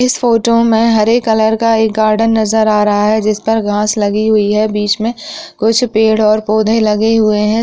इस फोटो मे हरे कलर का एक गार्डन नजर आ रहा है जिस पर घास लगी हुई है बीच मे कुछ पेड़ और पौधे लगे हुए हैं।